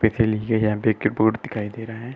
यहाँ पर एक बोर्ड दिखाई दे रहा है।